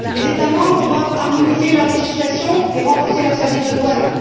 Les États membres doivent harmoniser leurs législations et renforcer leurs services de douanes.